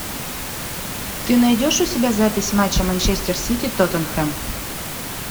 ты найдешь у себя запись матча манчестер сити тоттенхэм